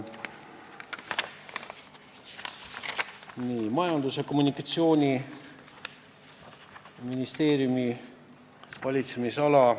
Esiteks, Majandus- ja Kommunikatsiooniministeeriumi valitsemisala.